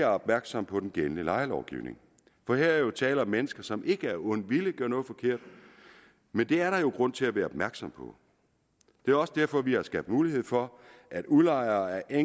opmærksomme på den gældende lejelovgivning for her er jo tale om mennesker som ikke af ond vilje gør noget forkert men det er der jo grund til at være opmærksom på det også derfor vi har skabt mulighed for at udlejere af